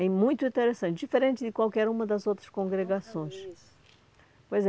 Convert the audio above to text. É muito interessante, diferente de qualquer uma das outras congregações. Pois é